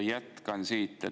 Jätkan siit.